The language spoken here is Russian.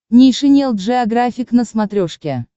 нейшенел джеографик на смотрешке